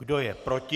Kdo je proti?